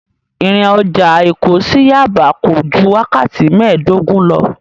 Ìrìn ọjà Èkó sí Yaba kò ju wákàtí mēẹ̀dógún lọ.